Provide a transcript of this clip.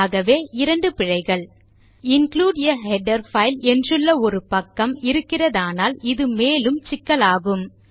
ஆகவே இரண்டு பிழைகள் இன்க்ளூடு ஆ ஹெடர் பைல் என்றுள்ள ஒரு பக்கம் இருக்கிறதானால் இது மேலும் சிக்கலாகும்